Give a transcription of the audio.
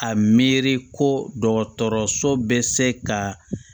A miiri ko dɔgɔtɔrɔso bɛ se ka